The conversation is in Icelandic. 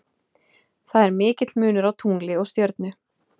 Það er mikill munur á tungli og stjörnu.